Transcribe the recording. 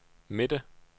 midte